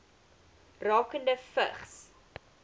rakende vigs